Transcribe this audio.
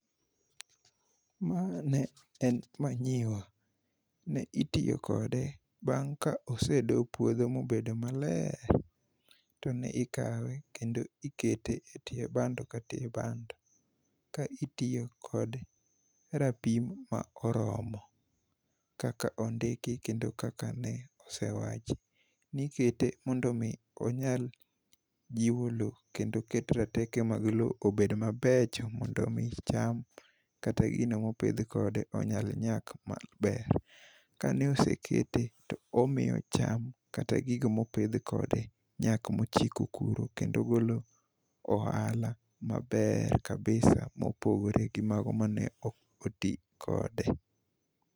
Ma ne manyiwa. Ne itiyo kode bang ka osedo puodho mobedo maler to ne ikawe kendo ikete e tie bando ka tie bando, ka itiyo kod rapim ma oromo kaka ondiki kendo kaka ne osewach. Nikete mondo mi onyal jiwo lowo kendo keto roteke mag lowo obed mabecho mondo mi cham kata gigo mopidh kode onyal nyak maber. Kane osekete to omiyo chama kata gigo mopidh kode nyak mochiko kuro kendo golo ohala maber kabisa mopogore gi mago mane ok otii kode.